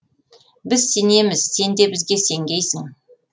біз сенеміз сен де бізге сенгейсің